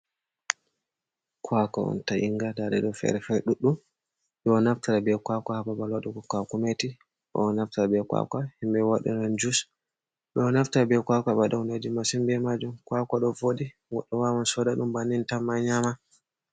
Kwako on ta yinga ndaɗe do fere fai ɗuɗɗum ɗoo naftira be kwaka hababal waɗugo kwaku meti ɗoo naftira be kwakwa himɓɓe waɗiran jus ɓeɗo naftira be kwakwa ɓe waɗa hundeji massin be majun kwaka ɗo voɗi goɗɗo wawan soda ɗum bannin tan ma nyama.